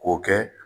K'o kɛ